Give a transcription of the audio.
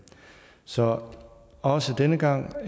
så også denne gang